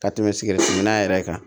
Ka tɛmɛ sikɛriti minan yɛrɛ kan